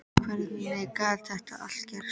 Og hvernig gat þetta allt gerst?